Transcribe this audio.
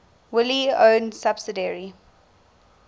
wholly owned subsidiary